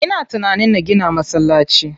Ina tunanin na gina masallaci.